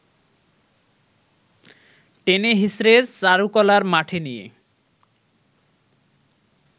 টেনেহিঁচড়ে চারুকলার মাঠে নিয়ে